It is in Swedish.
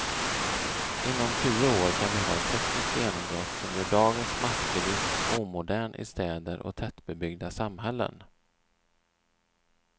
Inom tio år kan vi ha ett tekniskt genombrott som gör dagens massbilism omodern i städer och tätbebyggda samhällen.